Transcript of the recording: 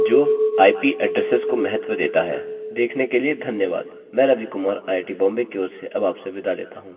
देखने के लिए धन्यवाद मैं रवि कुमार आईआईटीबॉम्बे की ओर अब आपसे विदा लेता हूँ धन्यवाद